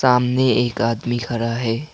सामने एक आदमी खड़ा है।